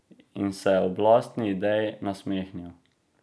In se ob lastni ideji nasmehnil.